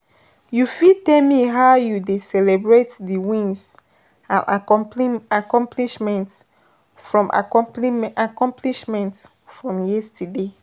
you fit tell me how you dey celebrate di wins and accomplishments from accomplishments from yesterday?